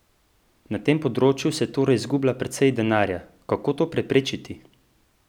Na tem področju se torej izgublja precej denarja, kako to preprečiti?